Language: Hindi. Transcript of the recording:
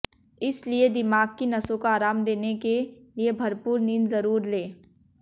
इस लिए दिमाग कि नसों को आराम देने के लिए भरपूर नींद जरूर लें